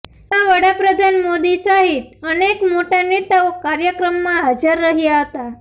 જેમાં વડાપ્રધાન મોદી સહિત અનેક મોટા નેતાઓ કાર્યક્રમમાં હાજર રહ્યા હતાં